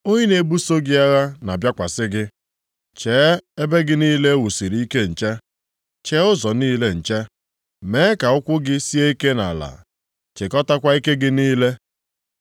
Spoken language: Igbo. Onye na-ebuso gị agha na-abịakwasị gị. Chee ebe gị niile e wusiri ike nche. Chee ụzọ niile nche, mee ka ụkwụ gị sie ike nʼala. Chịkọtakwa ike gị niile.